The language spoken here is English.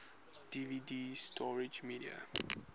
dvd storage media